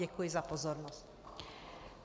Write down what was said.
Děkuji za pozornost.